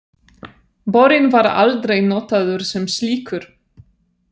Borinn var aldrei notaður sem slíkur.